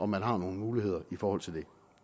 man har nogle muligheder i forhold til det